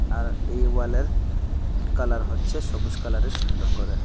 আর এই ওয়ালের কালার হচ্ছে সবুজ কালারের সুন্দর করে।